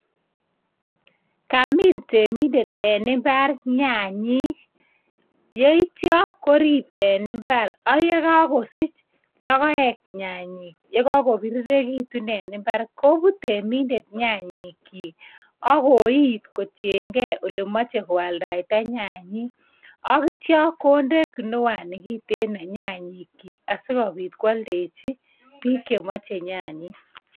Kamiin temindet en imbar nyanyik yeityo korib en imbar ak yekokosich lokoek nyanyik yekokobirirekitun en imbar kobut temindet nyanyik chiik ak koit koiyen gee ole moche koaldaita nyanyik ak ityoo koide kinwani kiten nyanyik kyik sikobit koaldeji bik chemoche nyanyik.